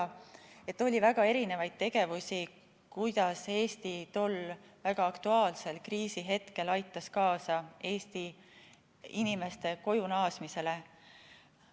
Nii et oli väga erinevaid tegevusi, kuidas Eesti tol väga aktuaalsel kriisihetkel aitas kaasa meie inimeste kojunaasmisele.